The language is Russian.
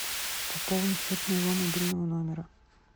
пополни счет моего мобильного номера